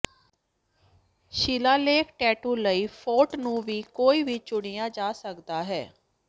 ਸ਼ਿਲਾਲੇਖ tattoo ਲਈ font ਨੂੰ ਵੀ ਕੋਈ ਵੀ ਚੁਣਿਆ ਜਾ ਸਕਦਾ ਹੈ